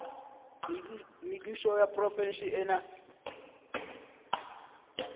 mebušo ya diprofense e na